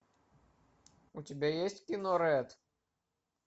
у тебя есть кино рэд